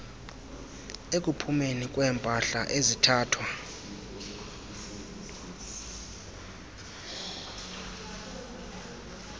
ekuphumeni kweempahla ezithathwa